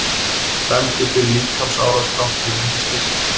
Dæmdur fyrir líkamsárás þrátt fyrir minnisleysi